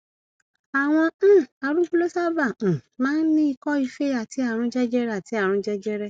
àwọn um arúgbó ló sábà um máa ń ní ikọife àti àrùn jẹjẹrẹ àti àrùn jẹjẹrẹ